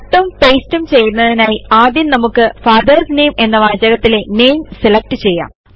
Cutഉം pasteഉം ചെയ്യുന്നതിനായി ആദ്യം നമുക്ക് ഫാദർസ് നാമെ എന്ന വാചകത്തിലെ NAMEസെലക്ട് ചെയ്യാം